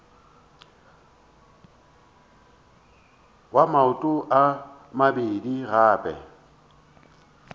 wa maoto a mabedi gape